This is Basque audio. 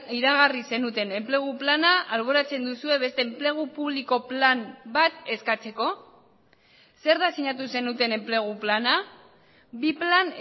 iragarri zenuten enplegu plana alboratzen duzue beste enplegu publiko plan bat eskatzeko zer da sinatu zenuten enplegu plana bi plan